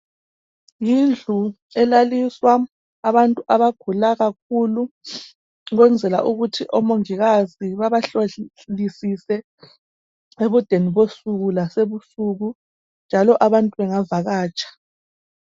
Yindlu elaliswa abantu abagula kakhulu, kwenzela ukuthi omungikazi babahlolisise, ebudeni bensuku lasebusuku, njalo abantu bangavakatsha.